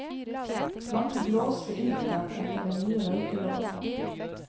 Mange blåste iltert etter den nye røykeloven.